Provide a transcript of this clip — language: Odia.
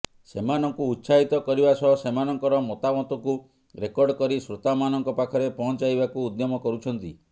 ସେମାନଙ୍କୁ ଉତ୍ସାହିତ କରିବା ସହ ସେମାନଙ୍କର ମତାମତକୁ ରେକର୍ଡ କରି ଶ୍ରୋତାମାନଙ୍କ ପାଖରେ ପହଞ୍ଚାଇବାକୁ ଉଦ୍ୟମ କରୁଛନ୍ତି